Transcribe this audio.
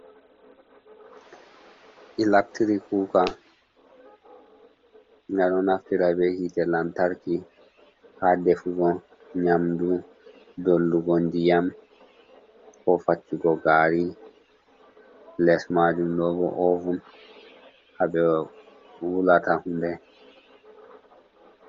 Ilectri kuka aɗo naftira be hite lantarki ha defugo nyamdu, dollugo ndiyam ko faccugo gari, les majum ɗo bo ovun haɓe wulata hunde.